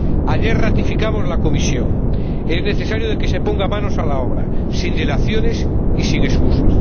Ayer ratificamos la Comisión es necesario que se ponga manos a la obra sin dilaciones y sin excusas.